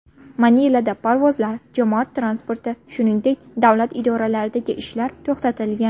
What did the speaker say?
Manilada parvozlar, jamoat transporti, shuningdek, davlat idoralaridagi ishlar to‘xtatilgan.